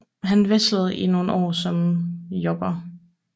Han wrestlede i nogle år som jobber